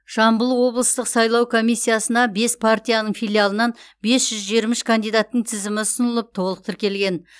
жамбыл облыстық сайлау комиссиясына бес партияның филиалынан бес жүз жиырма үш кандидаттың тізімі ұсынылып толық тіркелген